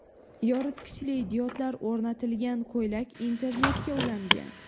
Yoritgichli diodlar o‘rnatilgan ko‘ylak internetga ulangan.